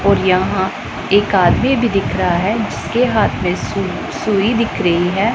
और यहां एक आदमी भी दिख रहा है जिसके हाथ में सुर सुरी दिख रही है।